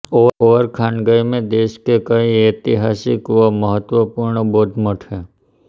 Ovorkhangai में देश के कई ऐतिहासिक व महत्वपूर्ण बौद्ध मठ हैं